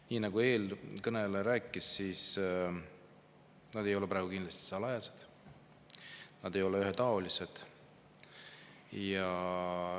Nii nagu eelkõnelejagi rääkis, valimised ei ole praegu kindlasti salajased ega ka mitte ühetaolised.